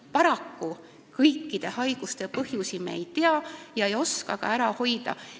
Paraku, kõikide haiguste põhjusi me ei tea ega oska neid haigusi ka ära hoida.